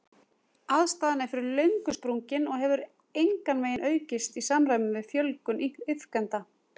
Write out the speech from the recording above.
Aðstaðan er fyrir löngu sprungin og hefur engan veginn aukist í samræmi við fjölgun iðkenda.